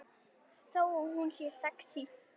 Þó hún sé sexí.